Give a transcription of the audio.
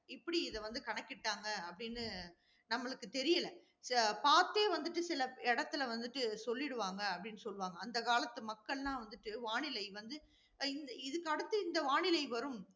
எப்படி இதை வந்து கணக்கிட்டாங்க அப்படின்னு நம்மளுக்கு தெரியல. பார்த்தே வந்துட்டு சில இடத்துல வந்துட்டு சொல்லிடுவாங்க, அப்படின்னு சொல்லுவாங்க. அந்த காலத்து மக்கள்லாம் வந்துட்டு, வானிலை வந்து இ~ இந்த இதுக்கு அடுத்து இந்த வானிலை வரும்